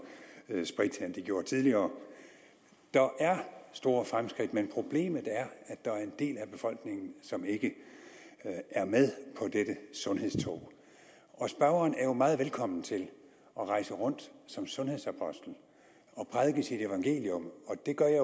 sprit end de gjorde tidligere der er store fremskridt men problemet er at der er en del af befolkningen som ikke er med på dette sundhedstog spørgeren er jo meget velkommen til at rejse rundt som sundhedsapostel og prædike sit evangelium